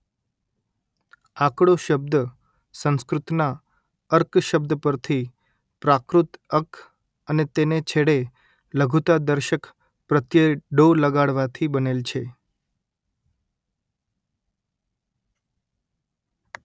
આકડો શબ્દ સંસ્કૃતના અર્ક શબ્દ પરથી પ્રાકૃત અક્ક અને તેને છેડે લઘુતાદર્શક પ્રત્યય ડો લગાડવાથી બનેલ છે